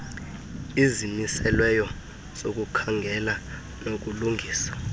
izimiselweyo zokukhangela nokulungisa